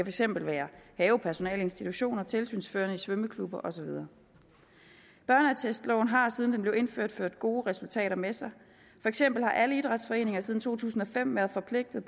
eksempel være havepersonale i institutioner tilsynsførende i svømmeklubber og så videre børneattestloven har siden den blev indført ført gode resultater med sig for eksempel har alle idrætsforeninger siden to tusind og fem være forpligtet